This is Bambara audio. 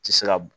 Ti se ka